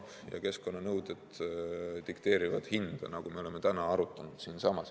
Ka keskkonnanõuded dikteerivad hinda, nagu me oleme täna siingi arutanud.